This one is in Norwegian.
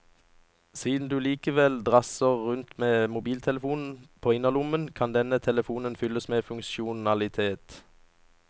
Siden du likevel drasser rundt med en mobiltelefon på innerlommen, kan denne telefonen fylles med funksjonalitet.